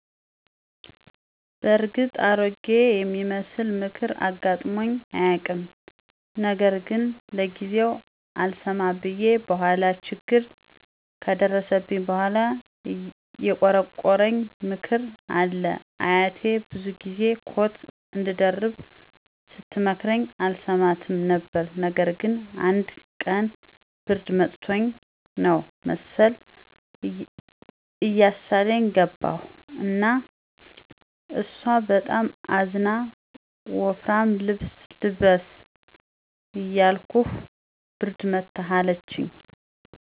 በእርግጥ አሮጌ የሚመስል ምክር አጋጥሞኝ አያውቅም። ነገር ግን ለጊዜው አልሰማ ብየ በኋላ ችግር ከደረሰብኝ በኋላ የቆረቆረኝ ምክር አለ። አያቴ ብዙ ጊዚ ኮት አንድደርብ ስተመክረኝ አልሰማትም ነበር። ነገር ግን አንድ ቀን ብርድ መትቶኝ ነው መሰል እያሳለኝ ገባሁ እና እሷ በጣም አዝና ወፍራም ልብስ ልበስ እያልኩህ ብርድ መታህ አለችኝ።